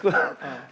það